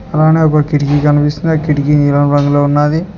అలానే ఒక కిటికీ కనిపిస్తుంది ఆ కిటికీ నీలం రంగులో ఉన్నాది.